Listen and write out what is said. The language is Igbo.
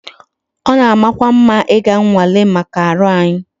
It is good to go for medical tests